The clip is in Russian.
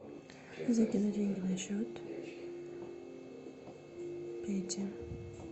закинуть деньги на счет пете